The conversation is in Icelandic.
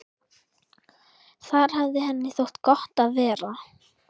Þar hafði henni þótt gott að vera.